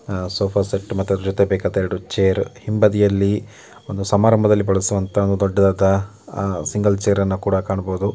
ಆ sofa set ಮತ್ತು ಅದರ ಜೊತೆ ಬೇಕಾದ ಎರಡು ಚೇರ್ ಹಿಂಬದಿಯಲ್ಲಿ ಒಂದು ಸಮಾರಂಭದಲ್ಲಿ ಬಳಸುವಂತಹ ದೊಡ್ಡದಾದ ಸಿಂಗಲ್ ಚೇರ್ ಅನ್ನ ಕೂಡ ಕಾಣಬಹುದು.